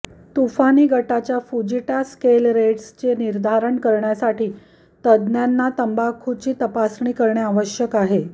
तुफानी गटाच्या Fujita scale रेट्सचे निर्धारण करण्यासाठी तज्ज्ञांना तंबाखूची तपासणी करणे आवश्यक आहे